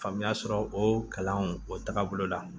Faamuya sɔrɔ o kalanw o tagabolo la